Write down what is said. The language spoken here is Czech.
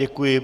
Děkuji.